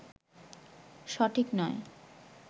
সঠিক নয়